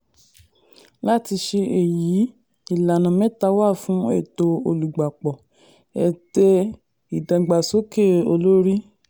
láti ṣe èyí ìlànà mẹ́ta wà fún ètò olùgbapò: ète ìdàgbàsókè olórí.